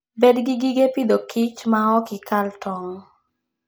Bed gi gige Agriculture and Food maok ikal tong'.